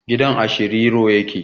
Gidan a Shiriro ya ke